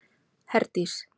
Herdís